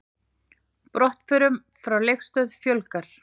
Brottförum frá Leifsstöð fjölgar